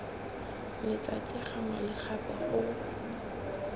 letsatsi gangwe le gape go